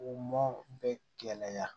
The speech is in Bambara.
U mɔ bɛ gɛlɛya